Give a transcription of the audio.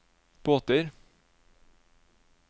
båter